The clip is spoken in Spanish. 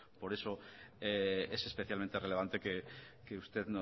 por eso es especialmente relevante que usted